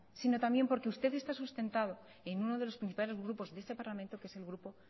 sino también porque ustedes están sustentado en uno de los principales grupos de ese parlamento que es el grupo